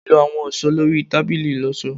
lọ awọn aṣọ lori tabili iloso